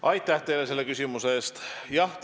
Aitäh teile selle küsimuse eest!